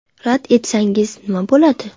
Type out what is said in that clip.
Rad etsangiz, nima bo‘ladi?